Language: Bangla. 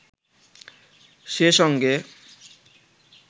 সে সঙ্গে